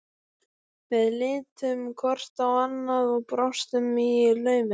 Við litum hvort á annað og brostum í laumi.